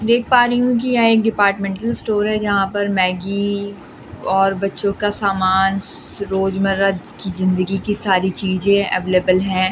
देख पा रही हूं कि यह एक डिपार्टमेंटल स्टोर है जहां पर मैग्गी और बच्चों का सामान रोजमर्रा की जिंदगी की सारी चीजें अवेलेबल हैं।